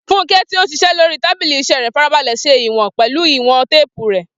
Funke, tí ó ń ṣiṣẹ́ lórí tábìlì iṣẹ́ rẹ̀, farabalẹ̀ ṣe ìwọ̀n pẹ̀lú ìwọ̀n téèpù rẹ̀.